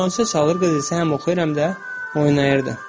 Orqançalan çalırdı, qız isə həm oxuyur, həm də oynayırdı.